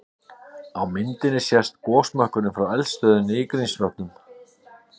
Á myndinni sést gosmökkurinn frá eldstöðinni í Grímsvötnum.